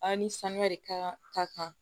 An ni sanuya de ka kan ka kan